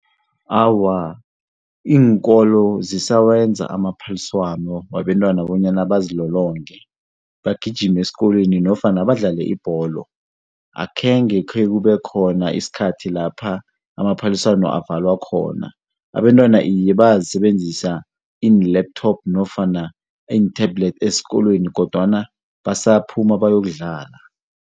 Awa, iinkolo zisawenza amaphaliswano wabentwana bonyana bazilolonge, bagijime esikolweni nofana badlale ibholo. Akhenge khekube khona isikhathi lapha amaphaliswano avalwa khona. Abentwana iye bayazisebenzisa iin-laptop nofana iinthebhulethi esikolweni kodwana basabaphuma bayokudlala.